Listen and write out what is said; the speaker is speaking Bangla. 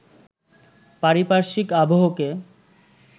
পারিপার্শ্বিক আবহকে